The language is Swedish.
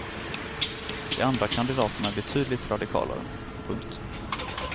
De andra kandidaterna är betydligt radikalare. punkt